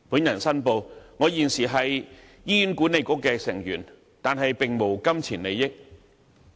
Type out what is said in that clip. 我申報，我現時是醫院管理局成員，但並無金錢利益。